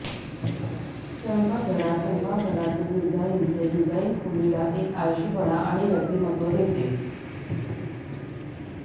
स्वयंपाकघरात स्वयंपाकघरातील डिझाईनचे डिझाइन खोलीला एक आळशीपणा आणि व्यक्तिमत्व देते